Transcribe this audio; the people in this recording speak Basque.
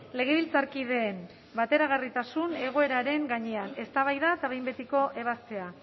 legebiltzarkideen bateragarritasun egoeraren gainean eztabaida eta behin betiko ebazpena